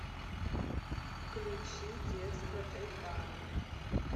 включи детство тайпана